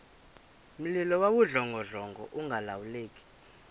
mlilo wawudlongodlongo ungalawuleki